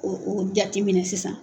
Ko o jate minɛ sisan